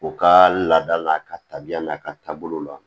U ka laada n'a ka tabiya n'a ka taabolo la